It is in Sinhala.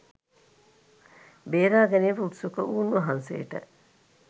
බේරා ගැනීමට උත්සුක වූ උන්වහන්සේට